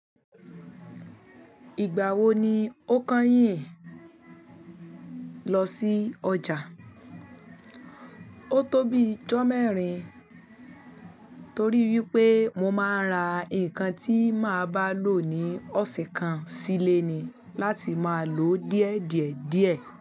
Ìgbà wo ni o kányìn lọ sí ọjà? O tó bí ijọ́ mẹ́rin torí wípé mo máa ra ǹkan tí máa bá lò ní ọ̀sẹ̀ kan sílé ni láti máa lò díẹ̀ díẹ̀ díẹ̀